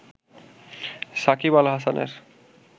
শাকিব আল হাসানের